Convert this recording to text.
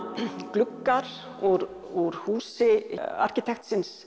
gluggar úr úr húsi arkitektsins